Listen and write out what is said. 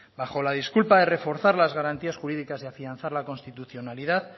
bajo la disculpa de reforzar las garantías jurídicas y afianzar la constitucionalidad